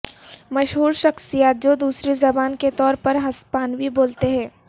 مشہور شخصیات جو دوسری زبان کے طور پر ہسپانوی بولتے ہیں